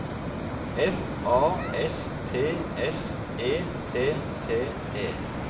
F A S T S E T T E